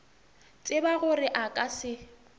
tseba gore a ka se